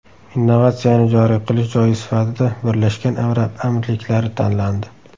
Innovatsiyani joriy qilish joyi sifatida Birlashgan Arab Amirliklari tanlandi.